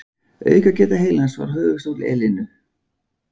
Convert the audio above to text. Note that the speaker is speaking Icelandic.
Aukageta heilans var höfuðstóll Elenu.